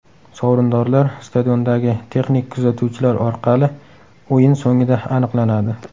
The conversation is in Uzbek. Sovrindorlar stadiondagi texnik kuzatuvchilar orqali o‘yin so‘ngida aniqlanadi.